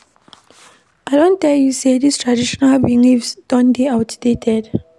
I don tell you sey dis traditional beliefs don dey outdated.